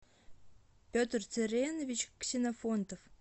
петр царенович ксенофонтов